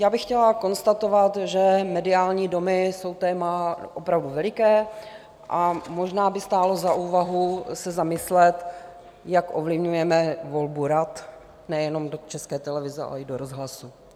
Já bych chtěla konstatovat, že mediální domy jsou téma opravdu veliké a možná by stálo za úvahu se zamyslet, jak ovlivňujeme volbu rad - nejenom do České televize, ale i do rozhlasu.